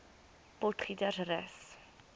potgietersrus